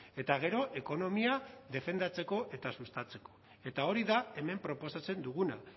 eta gero ekonomia defendatzeko eta sustatzeko eta hori da hemen proposatzen duguna